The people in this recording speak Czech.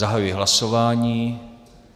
Zahajuji hlasování.